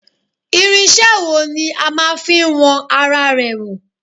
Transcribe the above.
Irinṣẹ́ wo ni a máa fi wọn ara rẹ̀ wò